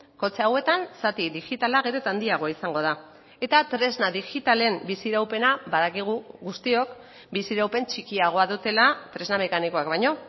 kotxe hauetan zati digitala gero eta handiagoa izango da eta tresna digitalen bizi iraupena badakigu guztiok bizi iraupen txikiagoa dutela tresna mekanikoak baino